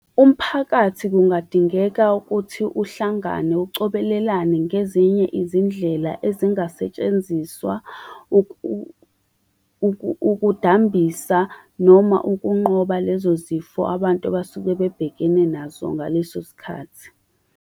Umphakathi kungadingeka ukuthi uhlangane ucobelelane ngezinye izindlela ezingasetshenziswa ukudambisa, noma ukunqoba lezo zifo abantu abasuke bebhekene nazo ngaleso sikhathi.